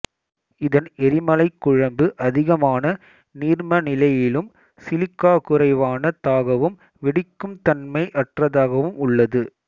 இதன் எரிமலைக் குழம்பு அதிகமான நீர்ம நிலையிலும் சிலிக்காகுறைவானதாகவும் வெடிக்கும் தன்மை அற்றதாகவும் உள்ளது